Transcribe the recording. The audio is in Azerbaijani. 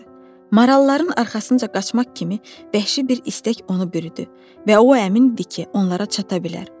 Maralların arxasınca qaçmaq kimi bəhşin bir istək onu bürüdü və o əmindir ki, onlara çata bilər.